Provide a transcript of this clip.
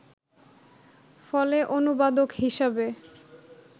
ফলে অনুবাদক হিসেবে